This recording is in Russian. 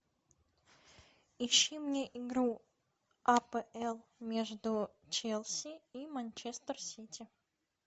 ищи мне игру апл между челси и манчестер сити